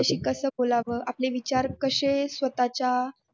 कसं बोलावं आपली विचार कसे स्वतःच्या